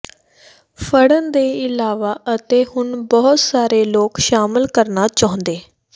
ਫੜਨ ਦੇ ਇਲਾਵਾ ਅਤੇ ਹੁਣ ਬਹੁਤ ਸਾਰੇ ਲੋਕ ਸ਼ਾਮਲ ਕਰਨਾ ਚਾਹੁੰਦੇ